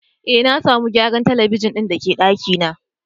Eh, na samu gyaran telibijin da ke daki na.